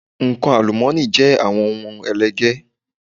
Nǹkan àlùmọ́ọ́nì jẹ́ àwọn ohun ẹlẹgẹ́.